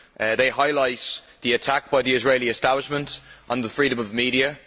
They highlight the attack by the Israeli establishment on the freedom of the media.